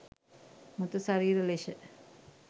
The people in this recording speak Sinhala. මෘත ශරීර ලෙස